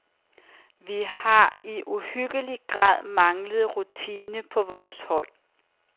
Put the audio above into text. Vi har i uhyggelig grad manglet rutine på vores hold.